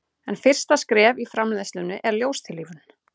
en fyrsta skref í framleiðslunni er ljóstillífun